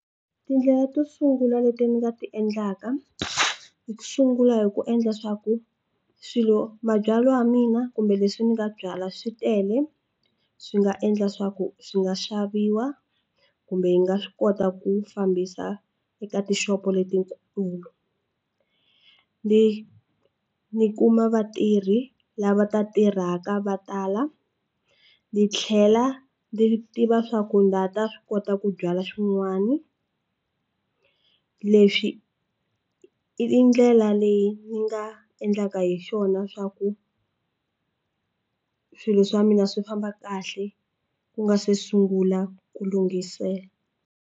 Tindlela to sungula leti ni nga ti endlaka hi ku sungula hi ku endla swa ku swilo mabyalwa ya mina kumbe leswi ni nga byalwa swi tele swi nga endla swa ku swi nga xaviwa kumbe yi nga swi kota ku fambisa eka tixopo letikulu ni ni kuma vatirhi lava ta tirhaka va tala ni tlhela ni tiva swa ku na ha ta swi kota ku byala swin'wani leswi i ndlela leyi ni nga endlaka hi swona swa ku swilo swa mina swi famba kahle ku nga se sungula ku lunghisela.